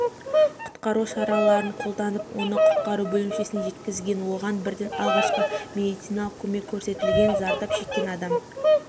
құтқару шараларын қолданып оны құтқару бөлімшесіне жеткізген оған бірден алғашқы медициналық көмек көрсетілген зардап шеккен адам